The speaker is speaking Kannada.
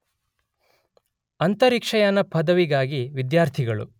ಅಂತರಿಕ್ಷಯಾನ ಪದವಿಗಾಗಿ ವಿದ್ಯಾರ್ಥಿಗಳು